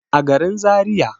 a garin zariya